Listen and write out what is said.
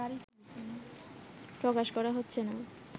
প্রকাশ করা হচ্ছে না